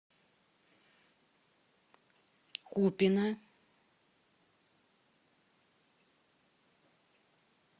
купино